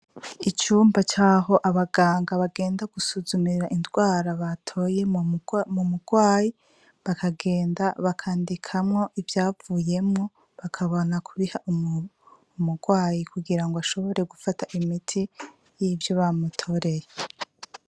Icumba caho abaganga bagenda gusuzumira indwara batoye mu murwayi bakagenda bakandikamwo ivyavuyemwo bakabona kubiha umurwayi kugira ngo ashobore gufata imiti y'ivyo bamutoreye.